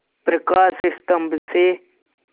प्रकाश स्तंभ से